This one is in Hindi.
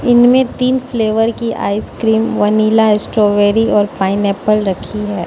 इनमें तीन फ्लेवर की आइस क्रीम वनीला स्ट्रॉबेरी और पाइनएप्पल रखी है।